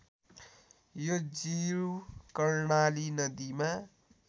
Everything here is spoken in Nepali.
यो जीव कर्णाली नदीमा